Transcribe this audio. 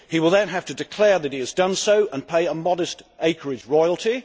He will then have to declare that he has done so and pay a modest acreage royalty.